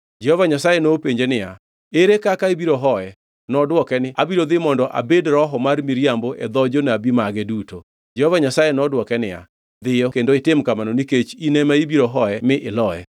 “Jehova Nyasaye nopenje niya, ‘Ere kaka ibiro hoye?’ “Nodwoke niya, ‘Abiro dhi mondo abed roho mar miriambo e dho jonabi mage duto.’ “Jehova Nyasaye nodwoke niya, ‘Dhiyo kendo itim kamano nikech in ema ibiro hoye mi iloye.’